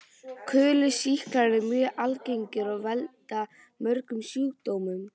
Kúlusýklar eru mjög algengir og valda mörgum sjúkdómum.